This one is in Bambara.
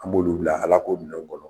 An b'olu bila Alako minɛnw kɔnɔ